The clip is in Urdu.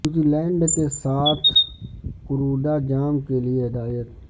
نیوزی لینڈ کے ساتھ کرودا جام کے لئے ہدایت